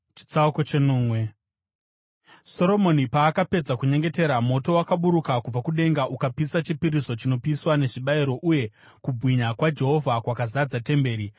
Soromoni paakapedza kunyengetera, moto wakaburuka kubva kudenga ukapisa chipiriso chinopiswa nezvibayiro uye kubwinya kwaJehovha kwakazadza temberi.